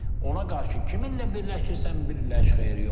Ona qarşı kiminlə birləşirsən birləş, xeyir yoxdur.